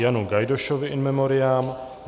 Janu Gajdošovi in memoriam